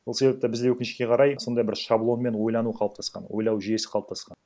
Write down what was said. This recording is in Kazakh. сол себепті бізде өкінішке қарай сондай бір шаблонмен ойлану қалыптасқан ойлау жүйесі қалыптасқан